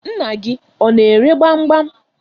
Nna gị ọ na-ere gbam gbam.